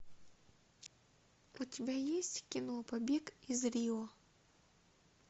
у тебя есть кино побег из рио